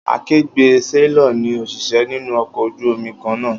Akegbé séílọ̀r ni òṣìṣẹ́ nínú ọkọ̀ ojú omi kan náà